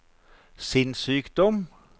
sinnssykdom